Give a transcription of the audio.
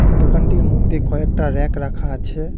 দোকানটির মধ্যে কয়েকটা র্যাক রাখা আছে।